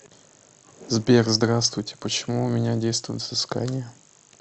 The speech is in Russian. сбер здравствуйте почему у меня действует взыскание